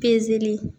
Pezeli